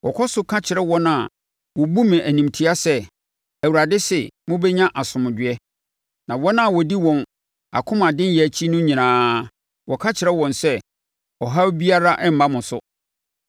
Wɔkɔ so ka kyerɛ wɔn a wɔbu me animtia sɛ, ‘ Awurade se: Mobɛnya asomdwoeɛ.’ Na wɔn a wɔdi wɔn akomadenyɛ akyi no nyinaa, wɔka kyerɛ wɔn sɛ, ‘Ɔhaw biara remma mo so.’